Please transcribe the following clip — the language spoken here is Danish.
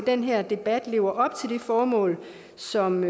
den her debat lever op til det formål som